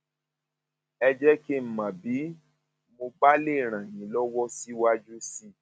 ẹ jẹ kí n mọ bí mo bá lè ràn yín lọwọ síwájú sí i